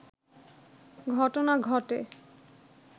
ঘটনা ঘটে